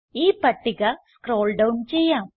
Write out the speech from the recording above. ഈ പട്ടിക scroll down ചെയ്യാം